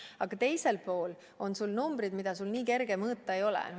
Aga teisel pool on numbrid, mida nii kerge teada saada ei ole.